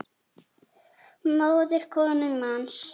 móðir konu manns